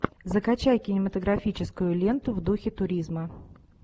закачай кинематографическую ленту в духе туризма